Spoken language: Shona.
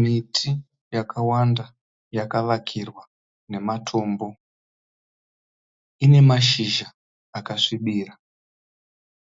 Miti yakawanda yakavakairwa namatombo. Ine mashizha akasvibira.